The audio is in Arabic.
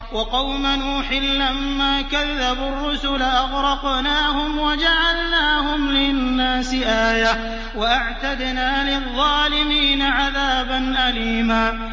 وَقَوْمَ نُوحٍ لَّمَّا كَذَّبُوا الرُّسُلَ أَغْرَقْنَاهُمْ وَجَعَلْنَاهُمْ لِلنَّاسِ آيَةً ۖ وَأَعْتَدْنَا لِلظَّالِمِينَ عَذَابًا أَلِيمًا